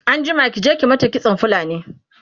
anjima ki je ki mata kitson fulni!